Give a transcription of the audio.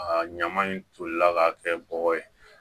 A ɲama in tolila ka kɛ bɔgɔ ye